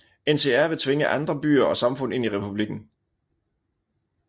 NCR vil tvinge andre byer og samfund ind i republikken